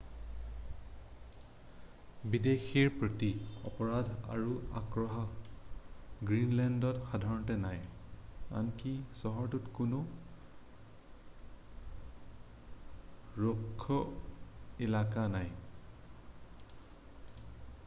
"বিদেশীৰ প্ৰতি অপৰাধ আৰু আক্ৰোহ গ্ৰীণলেণ্ডত সাধাৰণতে নাই। আনকি চহৰটো কোনো "ৰুক্ষ এলেকা" নাই।""